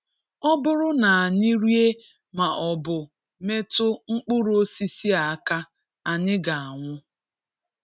Ọ bụrụ na anyị rie ma ọ bụ metụ mkpụrụ osisi a aka, anyị ga-anwụ.